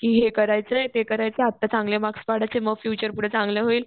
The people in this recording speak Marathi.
कि हे करायचंय, ते करायचंय आत्ता चांगले मार्क्स पडायचे मग फ्युचर पुढे चांगलं होईल.